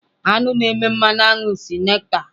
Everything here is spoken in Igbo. Aṅụ na-eme mmanụ aṅụ si nectar.